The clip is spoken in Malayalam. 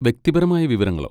വ്യക്തിപരമായ വിവരങ്ങളോ?